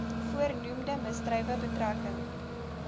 voornoemde misdrywe betrekking